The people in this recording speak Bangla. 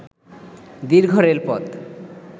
দীর্ঘ রেলপথ